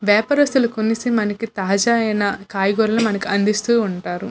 వ్యాపారస్తులు కొనేసి మనకి తాజా అయిన కూరగాయలు మనకి అందిస్తూ ఉంటారు.